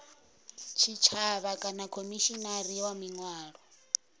tshitshavha kana khomishinari wa miano